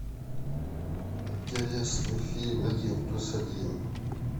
интересный фильм один плюс один